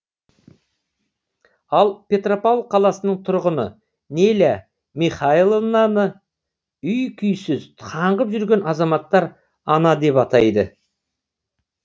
ал петропавл қаласының тұрғыны неля михайловнаны үй күйсіз қаңғып жүрген азаматтар ана деп атайды